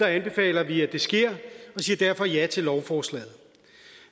anbefaler vi at det sker og siger derfor ja til lovforslaget